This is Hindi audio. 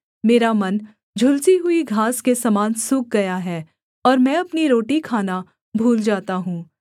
मेरा मन झुलसी हुई घास के समान सूख गया है और मैं अपनी रोटी खाना भूल जाता हूँ